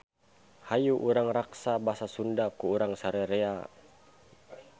Hayu urang raksa basa Sunda ku urang sararea.